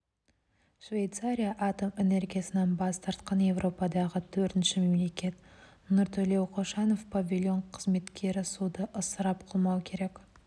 швейцария атом энергиясынан бас тартқан еуропадағы төртінші мемлекет нұртілеу қошанов павильон қызметкері суды ысырап қылмау керек